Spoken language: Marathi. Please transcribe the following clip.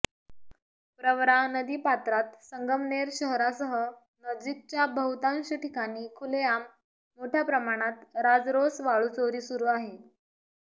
प्रवरा नदीपात्रात संगमनेर शहरासह नजीकच्या बहुतांश ठिकाणी खुलेआम मोठ्या प्रमाणात राजरोस वाळूचोरी सुरु आहे